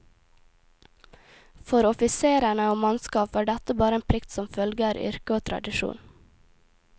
For offiserene og mannskap var dette bare en plikt som følger yrket og tradisjon.